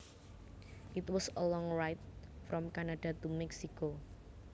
It was a long ride from Canada to Mexico